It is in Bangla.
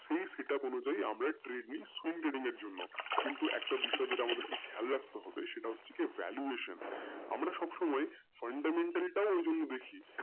সেই অনুযায়ী আমরা এর জন্য কিন্তু একটা বিষয় যেটা আমাদেরকে খেয়াল রাখতে হবে সেটা হচ্ছে কি valuation আমরা সবসময় হতে হবে বেশি।